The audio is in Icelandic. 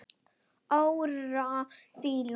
Áróra Hlín.